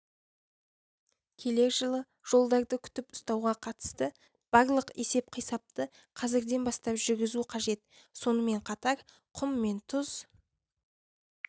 келер жылы жолдарды күтіп-ұстауға қатысты барлық есеп-қисапты қазірден бастап жүргізу қажет сонымен қатар құм мен тұз